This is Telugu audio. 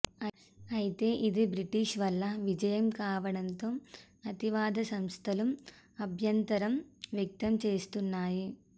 అయితే ఇది బ్రిటిష్ వాళ్ల విజయం కావడంతో అతివాద సంస్థలు అభ్యంతరం వ్యక్తం చేస్తున్నాయి